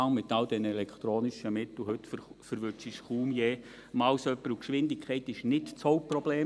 Mit all den elektronischen Mitteln heute erwischt man kaum je jemanden, und die Geschwindigkeit ist nicht das Hauptproblem.